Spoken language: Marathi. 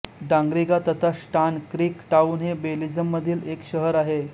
डांग्रिगा तथा स्टान क्रीक टाउन हे बेलीझमधील एक शहर आहे